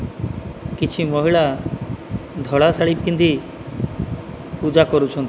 କିଛି ମହିଳା ଧଳା ଶାଢ଼ୀ ପିନ୍ଧି ପୂଜା କରୁଛନ୍ତି।